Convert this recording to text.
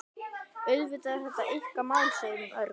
Auðvitað er þetta ykkar mál, segir hún örg.